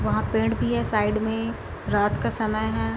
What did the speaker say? वहाँ पेड़ भी है साइड में रात का समय है ।